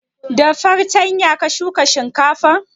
Da fartanya ka shuka shinkafan?